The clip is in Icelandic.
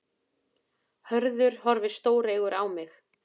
Hörður horfði stóreygur á mig.